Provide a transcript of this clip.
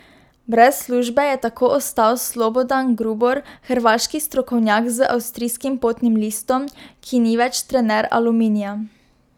Brez službe je tako ostal Slobodan Grubor, hrvaški strokovnjak z avstrijskim potnim listom, ki ni več trener Aluminija.